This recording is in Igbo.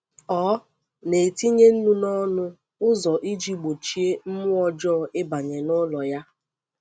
Ọ na-etinye nnu n’ọnụ ụzọ iji gbochie mmụọ ọjọọ ịbanye n’ụlọ ya.